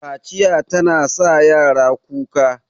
Kaciya tana sa yara kuka